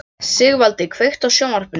Sigvaldi, kveiktu á sjónvarpinu.